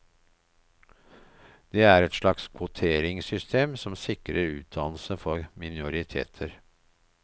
Det er et slags kvoteringssystem som sikrer utdannelse for minoriteter.